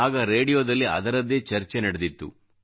ಆಗ ರೇಡಿಯೋದಲ್ಲಿ ಅದರದ್ದೇ ಚರ್ಚೆ ನಡೆದಿತ್ತು